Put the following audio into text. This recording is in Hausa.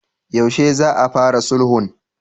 Yaushe za a fara sulhun?